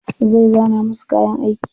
Zai zana musu kayan aiki.